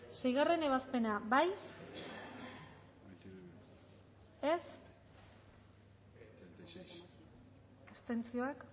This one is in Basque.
seigarrena ebazpena bozkatu dezakegu